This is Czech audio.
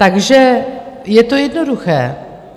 Takže je to jednoduché.